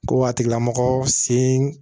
Ko a tigilamɔgɔ sen